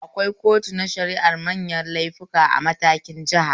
Akwai kotu na shara'ar manyan laifuka a matakin jiha